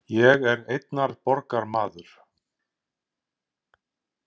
Ég er einnar borgar maður.